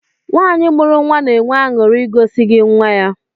Nwanyi mụrụ na-enwe aṅụri igosi gị nwam